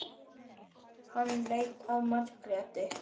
Hann leit á Margréti.